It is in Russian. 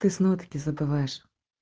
ты снова таки забываешь